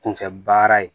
Kunfɛ baara ye